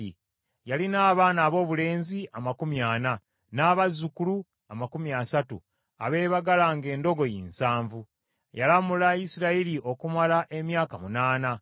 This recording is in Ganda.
Yalina abaana aboobulenzi amakumi ana, n’abazzukulu amakumi asatu abeebagalanga endogoyi nsanvu. Yalamula Isirayiri okumala emyaka munaana.